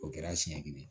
O kɛra siɲɛ kelen